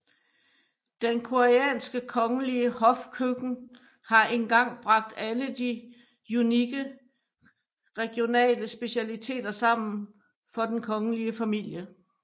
Den koreanske kongelige hofkøkken har engang bragt alle de unikke regionale specialiteter sammen for den kongelige familie